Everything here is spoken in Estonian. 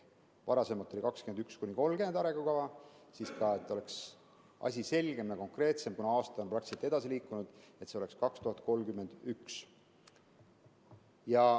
Varasemalt oli see arengukava aastateks 2021–2030, aga et asi oleks selgem ja konkreetsem, kuna praktiliselt aasta on edasi läinud, siis see oleks aastani 2031.